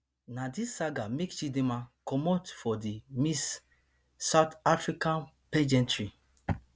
na dis saga make chidinma comot for di miss south africa pageantry